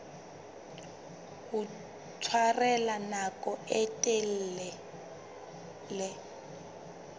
ho tshwarella nako e telele